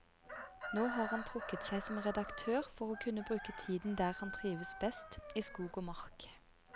Nå har han trukket seg som redaktør for å kunne bruke tiden der han trives best, i skog og mark.